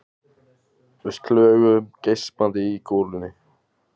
Við slöguðum geispandi í golunni.